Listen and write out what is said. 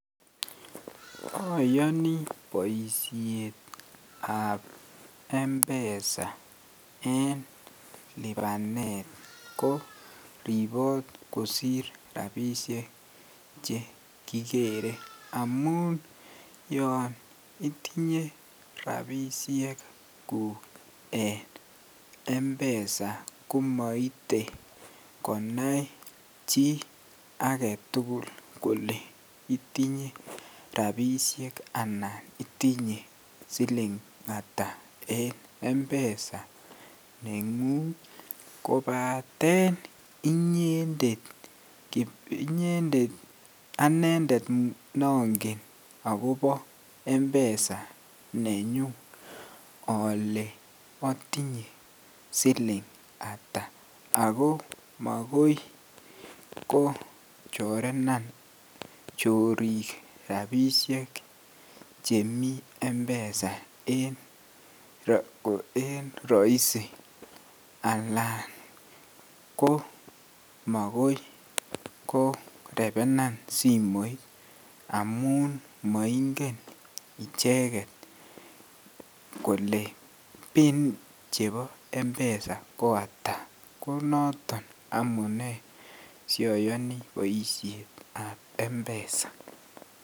Oyoni boishetab mpesa en libanet ko ribot kosir rabishek chekikere amun yoon itinye rabishekuk en mpesa komoite konai chii aketukul kolee itinye rabishek anan itinye silingata en mpesa nengung kobaten inyendet anendet nongen akobo mpesa nenyun olee otinye silingata akoo makoi kochorenan chorik chemii mpesa en roisi alaan ko mokoi korebenan simoit amu n moingen icheket kolee pin chebo mpesa ko ataa, konoton sioyoni boishetab mpesa.